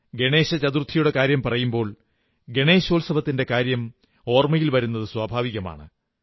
ഗണേശ ചതുർത്ഥിയുടെ കാര്യം പറയുമ്പോൾ ഗണേശോത്സവത്തിന്റെ കാര്യം ഓർമ്മ വരുന്നത് സ്വാഭാവികമാണ്